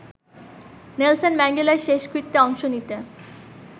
Nelson ম্যান্ডেলার শেষকৃত্যে অংশ নিতে